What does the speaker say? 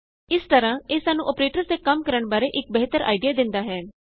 ਇਸ ਲਈ ਇਹ ਸਾਨੂੰ ਅੋਪਰੇਟਰਸ ਦੇ ਕੰਮ ਕਰਣ ਬਾਰੇ ਇਕ ਬਿਹਤਰ ਆਈਡਿਆ ਦਿੰਦਾ ਹੈ